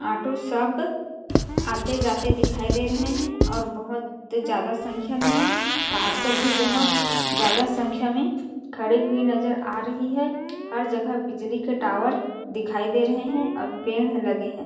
Auto सब आते-जाते दिखाई दे रहे है और बहोत ज्यादा संख्या में है कार सब भी बहोत ज्यादा संख्या में खड़े हुए नज़र आ रही है हर जगह बिजली के टावर दिखाई दे रहे है और पेड़ लगे है ।